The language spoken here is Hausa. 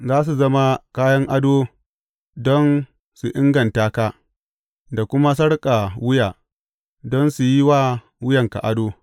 Za su zama kayan ado don su inganta ka da kuma sarƙar wuya don su yi wa wuyanka ado.